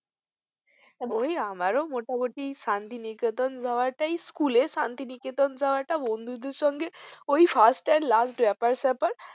আমারও মোটামুটি শান্তিনিকেতন যাওয়ারটাই school এর শান্তিনিকেতন যাওয়া বন্ধুদের সাথে ওই first and last ব্যাপার স্যাপার